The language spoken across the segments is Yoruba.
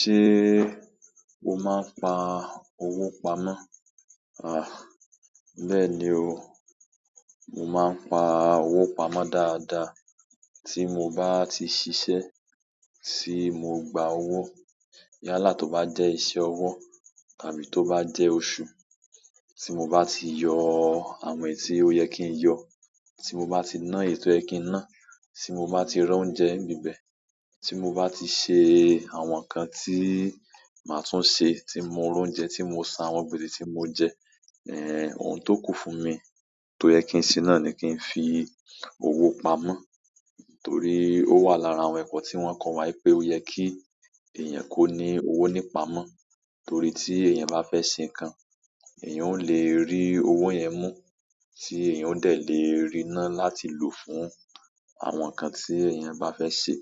Ṣé o máa ń pa owó pamọ́? Àh, bẹ́ẹ̀ ni o, mo máa ń pa owó pamọ́ dáadáa. Tí mo bá ti ṣiṣẹ́, tí mo gba owó. Yálà tó bá jẹ́ iṣẹ́ ọwọ́ tàbí tó bá jẹ́ oṣù, tí mo bá ti yọ àwọn èyí tí ó yẹ kí n yọ, tí mo bá ti ná èyítí o yẹ kín ná, tí mo bá ti ra oúnjẹ níbẹ̀, tí mo bá ti ṣe àwọn nǹkan tí màá tún ṣe, tí mo mó oúnjẹ tí mo san àwọn gbèsè tí mo jẹ, ẹ́, ohun tó kù fún mi tó yẹ kí n ṣe náà ni kí n fi owó pamọ́. Torí ó wà lára àwọn ẹ̀kọ́ tí wón kọ́ wi pé ó yẹ kí èèyàn kó ní owó nípa mọ́. Torí tí èèyàn bá fẹ́ ṣe nǹkan, èèyàn ó lè rí owó yẹn mú, tí èèyàn ó dẹ̀ lè rina láti lò fún àwọn nǹkan tí èèyàn bá fẹ́ ṣe.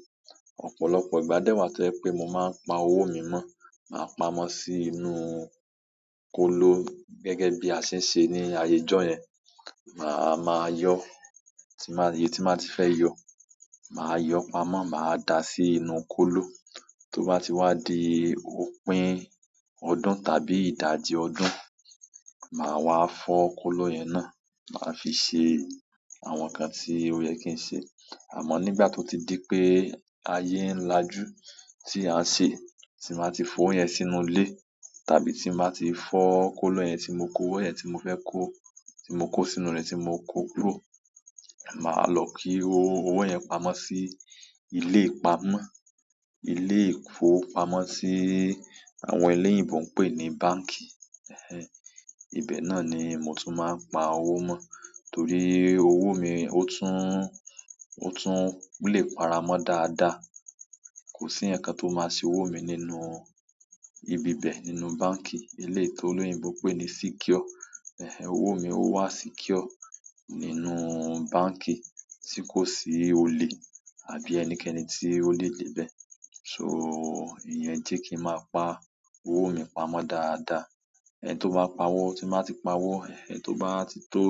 Ọ̀pọ̀lọpọ̀ ìgbà dẹ́wàá tó jẹ pé mo máa ń pa owó mi mọ́, màá pamọ́ sí inú kóló gẹ́gẹ́ bí a ṣe ń ṣe ní ayé ọjọ́ yẹn. Ma má yọ, tí baa ti baa ti fẹ yọ, ma yọ pamọ́, ma da sínú kóló to ba ti wa di òpin ọdún, tàbí ìdajì ọdún, ma wa fọ kóló yẹn náà, ma fi se àwọn ǹkan tó yẹ kín se. Àmọ́ nígbà tó ti di pé ayé ń lajú tí à ń ṣe, tí màá ti fowo yẹn sínú ilé tàbí tí màá ti fọ́ kóló yẹn tí mo kó owó yẹn tí mo fẹ́ kó, tí mo kó sínú rẹ̀ tí mo kó kúrò, màá lọ kí owó yẹn pamọ́ sí ilé ìpamọ́. Ilé ìfowópamọ́sí àwọn ẹlẹ́yìnbo ń pè ní báǹkì. Ẹ̀hẹn, ibẹ̀ náà ni mo tún máa ń pa owó mọ́. Torí owó mi ó tún, ó tún lè para mó dáadáa. Kò sí ǹkan kan tó máa se owó mi nínú ibi bẹ̀, nínú báǹkì. Eléyìí tó olóyìnbo ń pè ní secure. Ẹ̀hẹn, owó mi ó wà secure nínú báǹkì, tí kò sí olè àbí ẹnikẹ́ni tí ó lè dé bẹ̀. So, ìyẹn jẹ́ kí máa pa owó mi pamọ́ dáadáa. Ẹ̀hẹn tó bá pa owó, tí màá ti pa owó, ẹ̀hẹn tó bá ti tó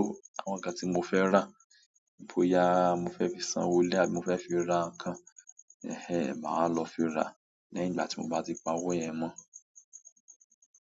àwọn nǹkan tí mo fẹ́ rà, bóyá mo fẹ́ fi san owó ilè àbí mo fẹ́ fi ra nǹkan, ẹ̀hẹn, màá wa lọ fi ra lẹ́yìn ígbà tí mo bá ti pa owó yẹn mọ́.